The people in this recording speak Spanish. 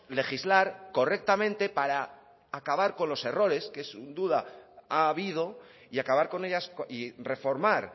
legislar correctamente para acabar con los errores que sin duda ha habido y acabar con ellas y reformar